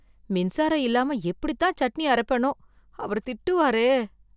மின்சாரம் இல்லாம எப்படித்தான் சட்னி அரப்பேனோ, அவர் திட்டுவாரே.